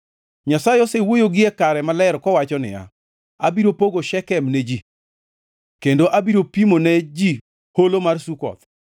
Nyasaye osewuoyo gie kare maler kowacho niya, “Abiro pogo Shekem ne ji, kendo abiro pimo ne ji Holo mar Sukoth.